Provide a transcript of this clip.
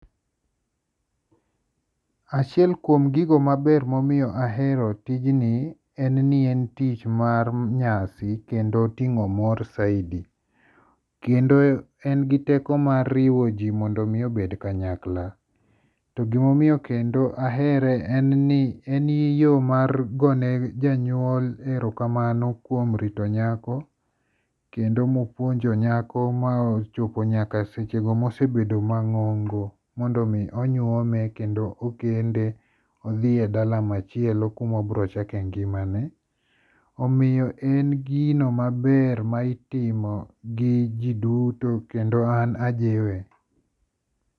Achiel kuom gigo maber momiyo ahero tijni en ni en tich mar nyasi kendo oting'o mor saidi. Kendo en gi teko mar riwo ji mondo mi obed kanyakla. To gima omiyo kendo ahere en ni en eyo mar goyo ne jonyuol erokamano kuom rito nyako kendo mopuonjo nyako mochopo nyaka sechego mobedo mang'ongo mondo mi onyuome kendo okende odhi e dala machielo kuma ibiro chake ngimane. Omiyo en ggino maber ma iimo gi ji duto kendo an ajiwe.